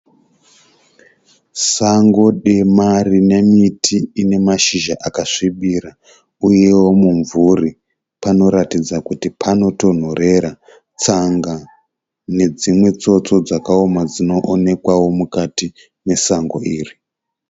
Sango dema rine miti ine mashizha akasvibira uyewo mumvuri. Panoratidza kuti panotonhorera. Tsanga nedzimwe tsotso dzakaoma dzinoonekwawo mukati mesango iri.